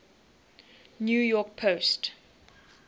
new york post